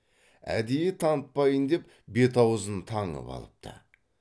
әдейі танытпайын деп бет аузын таңып алыпты